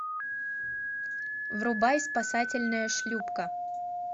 врубай спасательная шлюпка